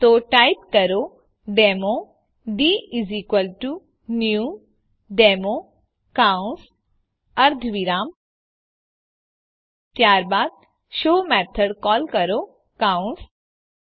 તો ટાઈપ કરો demo dnew demo કૌંસ અર્ધવિરામ ત્યારબાદ શો મેથડ કોલ કરો કૌંસ